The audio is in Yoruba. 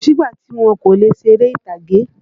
Kósì ìgbà tí wọn kò lè ṣeré ìtàgé.